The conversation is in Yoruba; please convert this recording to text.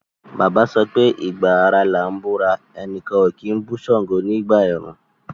Bàbá sọpé “ ìgba ara làá búra, ẹnìkan kì í bú ṣàngó nígbà ẹ̀rùn”.